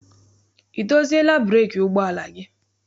I doziela breeki ụgbọala gị?